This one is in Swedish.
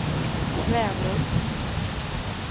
Kvänum